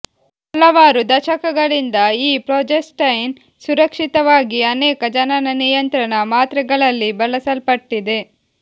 ಹಲವಾರು ದಶಕಗಳಿಂದ ಈ ಪ್ರೊಜೆಸ್ಟೈನ್ ಸುರಕ್ಷಿತವಾಗಿ ಅನೇಕ ಜನನ ನಿಯಂತ್ರಣ ಮಾತ್ರೆಗಳಲ್ಲಿ ಬಳಸಲ್ಪಟ್ಟಿದೆ